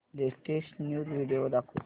latest news video दाखव